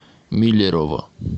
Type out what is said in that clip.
миллерово